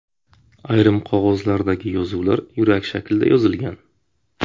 Ayrim qog‘ozlardagi yozuvlar yurak shaklida yozilgan.